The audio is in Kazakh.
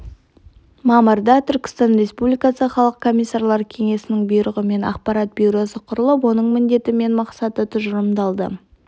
жылғы мамырда түркістан республикасы халық комиссарлар кеңесінің бұйрығымен ақпарат бюросы құрылып оның міндеті мен мақсаты тұжырымдалды